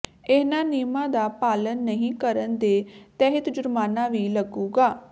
ਇਨਹਾ ਨਿਯਮਾਂ ਦਾ ਪਾਲਣ ਨਹੀਂ ਕਰਣ ਦੇ ਤਹਿਤ ਜੁਰਮਾਨਾ ਵੀ ਲੱਗੁਗਾ